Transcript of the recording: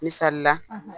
Misalila